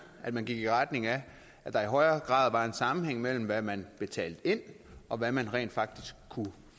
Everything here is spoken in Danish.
at man gik i retning af at der i højere grad var en sammenhæng mellem hvad man betalte ind og hvad man rent faktisk kunne